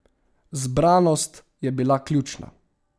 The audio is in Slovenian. Zbranost je bila ključna.